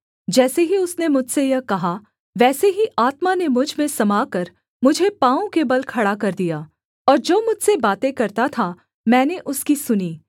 जैसे ही उसने मुझसे यह कहा वैसे ही आत्मा ने मुझ में समाकर मुझे पाँवों के बल खड़ा कर दिया और जो मुझसे बातें करता था मैंने उसकी सुनी